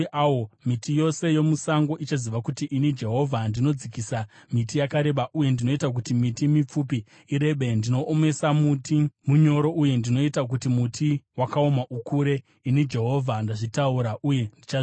Miti yose yomusango ichaziva kuti ini Jehovha ndinodzikisa miti yakareba uye ndinoita kuti miti mipfupi irebe. Ndinoomesa muti munyoro uye ndinoita kuti muti wakaoma ukure. “ ‘Ini Jehovha ndazvitaura, uye ndichazviita.’ ”